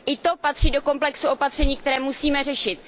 I to patří do komplexu opatření, které musíme řešit.